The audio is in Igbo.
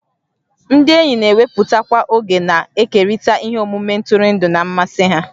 Ndị enyi na-ewepụtakwa oge na-ekerịta ihe omume ntụrụndụ na mmasị ha